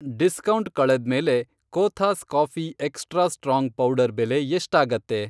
Discount ಕಳೆದ್ಮೇಲೆ Cothas coffee extra strong powder ಬೆಲೆ ಎಷ್ಟಾಗತ್ತೆ?